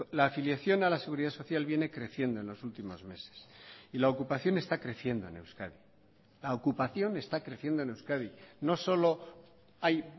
la afiliación a la seguridad social viene creciendo en los últimos meses y la ocupación está creciendo en euskadi la ocupación está creciendo en euskadi no solo hay